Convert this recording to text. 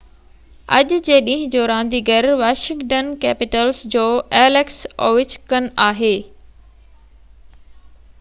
اڄ جي ڏينهن جو رانديگر واشنگٽن ڪيپيٽلز جو ايليڪس اووچڪن آهي